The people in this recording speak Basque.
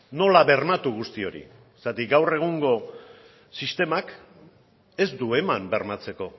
nola bermatu guzti hori zergatik gaur egungo sistemak ez du eman bermatzeko